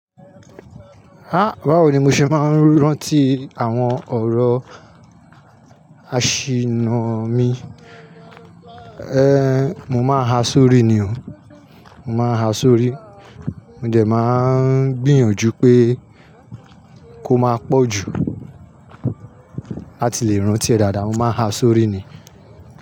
Há báwo ni mo ṣe máa ń rántí àwọn ọ̀rọ̀ àṣìnnà mi, eh mo máa ha sórí ni o, mo máa ha sórí. Mo dẹ̀ máa ń gbìyànjú pé kó máa pọ̀ jù láti lè rántí ẹ dáadáa, mo máa ha sórí ni.